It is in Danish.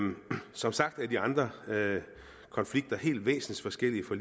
som sagt er de andre konflikter helt væsensforskellige fra